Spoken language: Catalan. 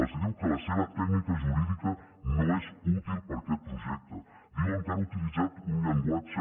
els diu que la seva tècnica jurídica no és útil per a aquesta projecte diuen que han utilitzat un llenguatge